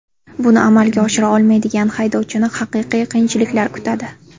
Buni amalga oshira olmaydigan haydovchini haqiqiy qiyinchiliklar kutadi.